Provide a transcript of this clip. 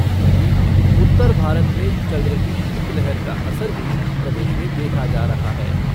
वहीं, उत्तर भारत में चल रही शीतलहर का असर भी प्रदेश में देखा जा रहा है।